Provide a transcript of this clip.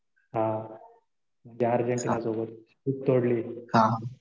हा. ते अर्जेंटिना सोबत खूप तोडली.